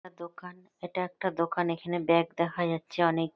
একটা দোকান এটা একটা দোকান। এখানে ব্যাগ দেখা যাচ্ছে অনেক|